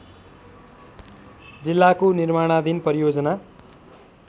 जिल्लाको निर्माणाधीन परियोजना